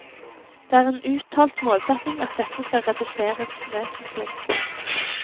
Det er en uttalt målsetning at dette skal reduseres vesentlig.